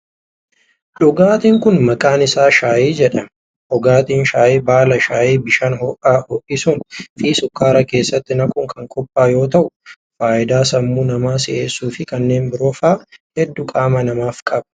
Dhugaatiin kun, maqaan isaa shaayii jedhama. Dhugaatiin shaayii baala shaayii bishaan ho'aan ho'isuun fi sukkaara keessatti naquun kan qophaa'u yoo ta'u, faayidaa sammuu namaa si'eessuu fi kanneen biroo faa hedduu qaama namaaf qaba.